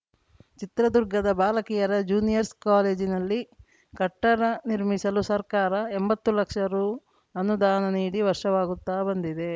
ಚಿತ್ರದುರ್ಗದ ಬಾಲಕಿಯರ ಜ್ಯೂನಿಯರ್ಸ್ ಕಾಲೇಜಿನಲ್ಲಿ ಕಟ್ಟಡ ನಿರ್ಮಿಸಲು ಸರ್ಕಾರ ಎಂಬತ್ತು ಲಕ್ಷ ರು ಅನುದಾನ ನೀಡಿ ವರ್ಷವಾಗುತ್ತಾ ಬಂದಿದೆ